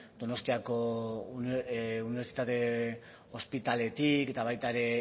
donostiako unibertsitate ospitaletik eta baita ere